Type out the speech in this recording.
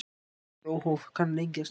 Ekkert óhóf kann lengi að standast.